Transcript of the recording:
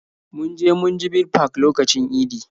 Mun je munjibir park lokacin idi